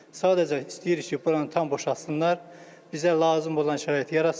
Sadəcə istəyirik ki, buranı tam boşaltsınlar, bizə lazım olan şəraiti yaratsınlar.